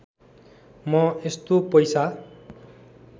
म यस्तो पैसा